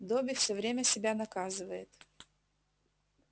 добби все время себя наказывает